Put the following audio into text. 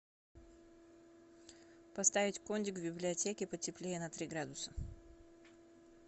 поставить кондик в библиотеке потеплее на три градуса